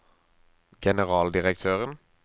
generaldirektøren